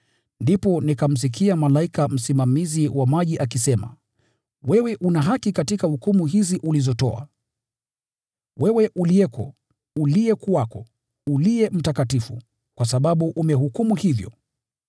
Ndipo nikamsikia malaika msimamizi wa maji akisema: “Wewe una haki katika hukumu hizi ulizotoa, wewe uliyeko, uliyekuwako, Uliye Mtakatifu, kwa sababu umehukumu hivyo;